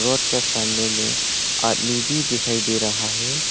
Road के सामने में आदमी भी दिखाई दे रहा है।